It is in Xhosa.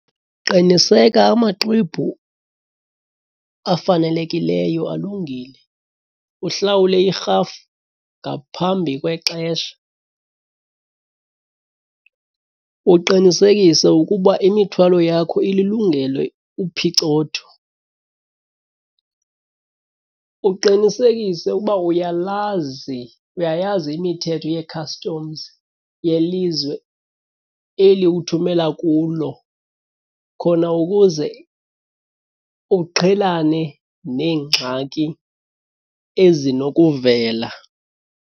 Qiniseka amaxwebhu afanelekileyo alungile, uhlawule irhafu ngaphambi kwexesha. Uqinisekise ukuba imithwalo yakho ililungele uphicotho. Uqinisekise ukuba uyalazi, uyayazi imithetho ye-customs yelizwe eli uthumela kulo khona ukuze uqhelane neengxaki ezinokuvela.